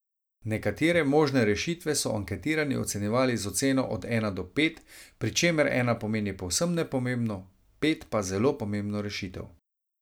Nekatere možne rešitve so anketirani ocenjevali z oceno od ena do pet, pri čemer ena pomeni povsem nepomembno, pet pa zelo pomembno rešitev.